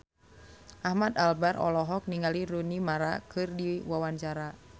Ahmad Albar olohok ningali Rooney Mara keur diwawancara